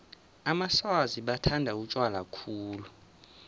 amaswazi bathanda utjwala khulu